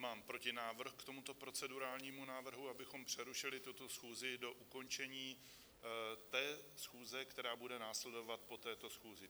Mám protinávrh k tomuto procedurálnímu návrhu, abychom přerušili tuto schůzi do ukončení té schůze, která bude následovat po této schůzi.